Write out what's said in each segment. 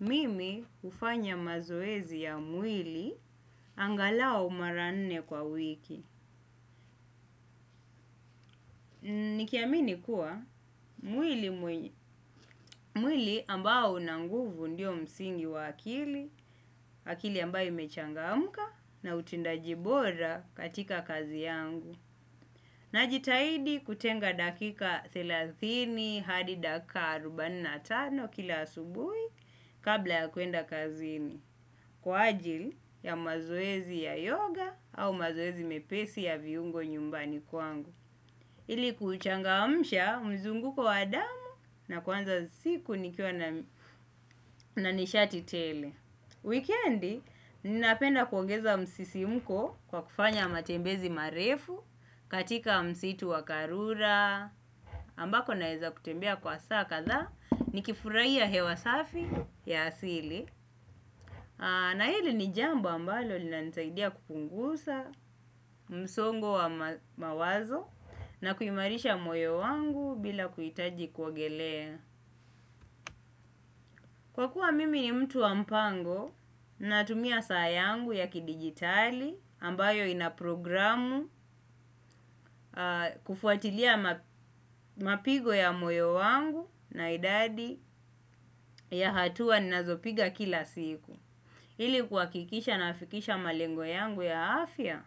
Mimi hufanya mazoezi ya mwili angalau mara nne kwa wiki. Nikiamini kuwa mwili ambao una nguvu ndiyo msingi wa akili, akili ambao imechangamka na utendaji bora katika kazi yangu. Najitahidi kutenga dakika thelathini hadi dakika arobaini na tano kila asubuhi kabla ya kwenda kazini. Kwa ajili ya mazoezi ya yoga au mazoezi mepesi ya viungo nyumbani kwangu ili kuuchangamusha mzunguko wa damu na kuanza siku nikiwa na nishati tele. Wikendi, ninapenda kuongeza msisimuko kwa kufanya matembezi marefu katika msitu wa karura, ambako naeza kutembea kwa saa kadhaa nikifurahia hewa safi ya asili. Na hili ni jambo ambalo linanisaidia kupunguza msongo wa mawazo na kuimarisha moyo wangu bila kuhitaji kuogelea. Kwa kuwa mimi ni mtu wa mpango natumia saa yangu ya kidigitali ambayo ina programu kufuatilia mapigo ya moyo wangu na idadi ya hatua ninazopiga kila siku. Ili kuhakikisha nafikisha malengo yangu ya afya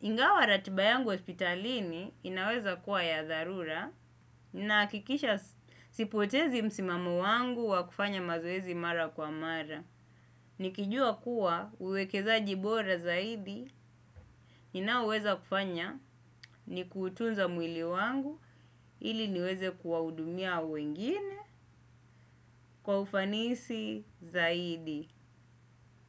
ingawa ratiba yangu hospitalini inaweza kuwa ya dharura nahakikisha sipotezi msimamo wangu wa kufanya mazoezi mara kwa mara. Nikijua kuwa uwekezaji bora zaidi ninaoweza kufanya ni kutunza mwili wangu ili niweze kuwahudumia wengine kwa ufanisi zaidi.